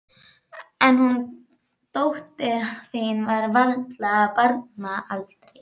En hún dóttir þín er varla af barnsaldri.